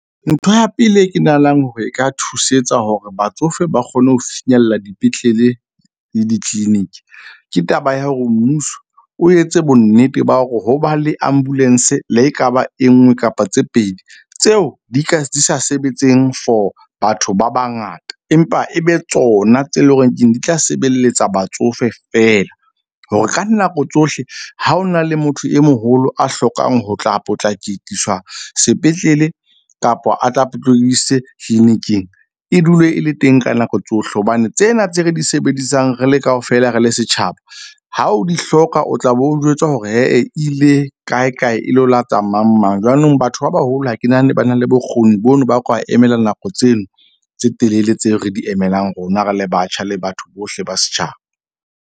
Ntho ya pele e ke nahanang hore e ka thusetsa hore batsofe ba kgone ho finyella dipetlele le di-clinic. Ke taba ya hore mmuso o etse bonnete ba hore ho ba le ambulance le ekaba e nngwe kapa tse pedi tseo di ka di sa sebetseng for batho ba bangata. Empa e be tsona tse leng horeng keng di tla sebelletsa batsofe fela, hore ka nako tsohle ha o na le motho e moholo a hlokang ho tla potlakikisa sepetlele kapa a tla clinic-ing e dule e le teng ka nako tsohle. Hobane tsena tse re di sebedisang re le kaofela re le setjhaba ha o di hloka, o tla be o jwetswa hore e ile e kae, kae, e leo la tsa mang mang. Jwanong batho ba baholo ha ke nahane ba na le bokgoni bono, ba ka emela nako tseno tse telele tseo re di emelang, rona re le batjha le batho bohle ba setjhaba.